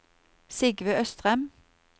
Sigve Østrem